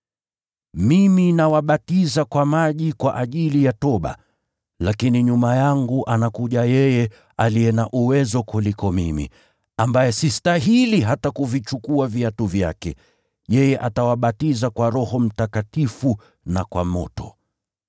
“Mimi nawabatiza kwa maji kwa ajili ya toba. Lakini nyuma yangu anakuja yeye aliye na uwezo kuliko mimi, ambaye sistahili hata kuvichukua viatu vyake. Yeye atawabatiza kwa Roho Mtakatifu na kwa moto.